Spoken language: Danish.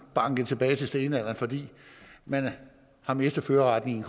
banket tilbage til stenalderen fordi man har mistet førerretten